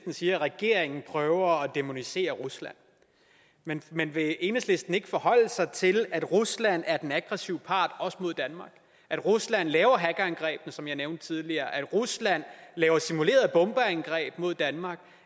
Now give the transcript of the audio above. siger at regeringen prøver at dæmonisere rusland men men vil enhedslisten ikke forholde sig til at rusland er den aggressive part også mod danmark at rusland laver hackerangrebene som jeg nævnte tidligere at rusland laver simulerede bombeangreb mod danmark